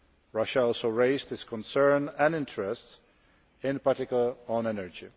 Russia also raised its concerns and interests, in particular on energy.